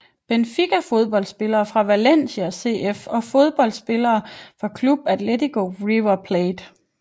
Benfica Fodboldspillere fra Valencia CF Fodboldspillere fra Club Atlético River Plate